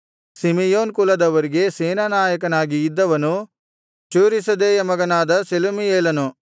Simeon ಕುಲದವರಿಗೆ ಸೇನಾನಾಯಕನಾಗಿ ಇದ್ದವನು ಚೂರೀಷದ್ದೈಯ ಮಗನಾದ ಶೆಲುಮೀಯೇಲನು